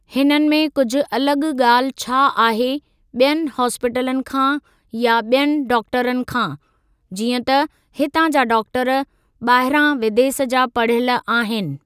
हिननि में कुझु अलॻ ॻाल्हि छा आहे ॿियनि हॉस्पिटलनि खां या बि॒यनि डॉक्टरनि खां, जीअं त हितां जा डॉक्टर ॿाहिरां विदेस जा पढ़ियलु आहिनि।